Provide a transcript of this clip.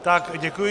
Tak děkuji.